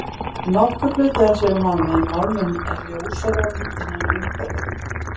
Nokkur hluti hans er úr málmi, en málmurinn er ljósari á myndinni en umhverfið.